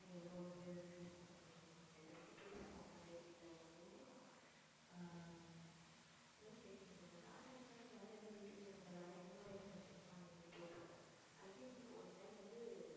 எவ்வளவு வந்து increase லாம் பண்ணிட்டு இருந்தோம். நம்ம இதைப்பத்தி பேசுவோம் நிறைய detailed ஆவே ஆஹ் என்னமோ கேட்கணும்னு இருந்தேன் வேற என்ன வேற என்ன யூடியூப் channel ல வேற என்ன மாதிரியான message எல்லாம் நீ வந்து போட்டிருக்க I think one time வந்து